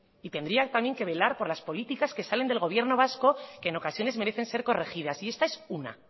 y tendría también que velar por las políticas que salen del gobierno vasco que en ocasiones merecen ser corregidas y esta es una